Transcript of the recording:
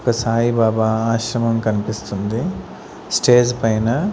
ఒక సాయి బబా ఆశ్రమం కనిపిస్తుంది స్టేజ్ పైన.